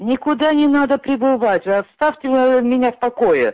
никуда не надо прибывать вы оставьте меня в покое